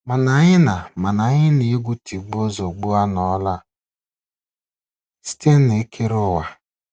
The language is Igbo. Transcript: Mana Anyị na Mana Anyị na egwu tigbuo, zọgbuo anọla site n'ekere ụwa.